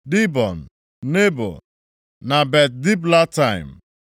Dibọn, Nebo na Bet-Diblataim,